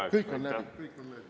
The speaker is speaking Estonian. Jaa, kõik on läbi, kõik on läbi.